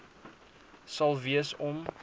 sal wees om